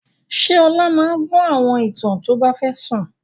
Ṣé Ọlá máa gbọ́ àwọn ìtàn tó bá fẹ́ sùn?